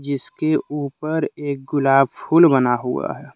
इसके ऊपर एक गुलाब फूल बना हुआ है।